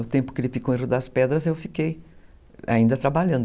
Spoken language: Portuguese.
O tempo que ele ficou em Rua das Pedras, eu fiquei ainda trabalhando.